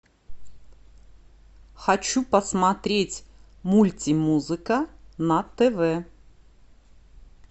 хочу посмотреть мультимузыка на тв